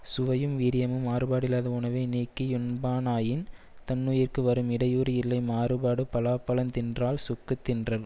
சுவையும் வீரியமும் மாறுபாடில்லாத உணவை நீக்கி யுண்பானாயின் தன்னுயிர்க்கு வரும் இடையூறு இல்லை மாறுபாடு பலாப்பழந்தின்றால் சுக்குத் தின்றன்